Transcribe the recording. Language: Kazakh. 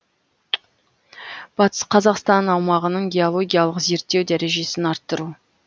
батыс қазақстан аумағының геологиялық зерттеу дәрежесін арттыру